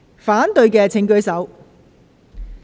反對的請舉手。